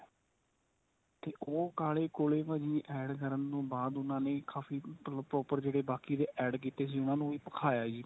ਤੇ ਉਹ ਕਾਲੇ ਕੋਲੇ ਭਾਜੀ add ਕਰਨ ਤੋਂ ਬਾਅਦ ਉਨ੍ਹਾਂ ਨੇ ਕਾਫੀ proper ਜਿਹੜੇ ਬਾਕੀ ਦੇ add ਕੀਤੇ ਸੀ ਉਨ੍ਹਾਂ ਨੂੰ ਵੀ ਭਖਾਇਆ ਜੀ